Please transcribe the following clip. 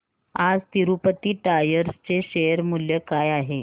आज तिरूपती टायर्स चे शेअर मूल्य काय आहे